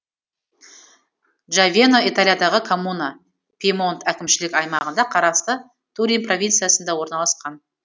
джавено италиядағы коммуна пьемонт әкімшілік аймағына қарасты турин провинциясында орналасқан